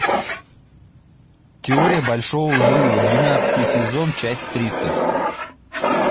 теория большого взрыва двенадцатый сезон часть тридцать